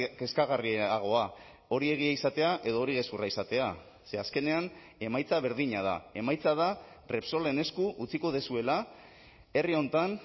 kezkagarriagoa hori egia izatea edo hori gezurra izatea ze azkenean emaitza berdina da emaitza da repsolen esku utziko duzuela herri honetan